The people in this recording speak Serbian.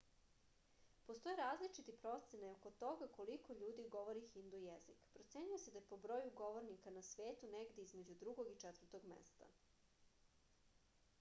postoje različite procene oko toga koliko ljudi govori hindu jezik procenjuje se da je po broju govornika na svetu negde između drugog i četvrtog mesta